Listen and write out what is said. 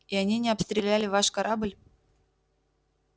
и они не обстреляли ваш корабль